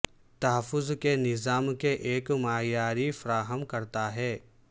تحفظ کے نظام کے ایک معیاری فراہم کرتا ہے